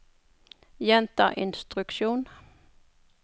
gjenta instruksjon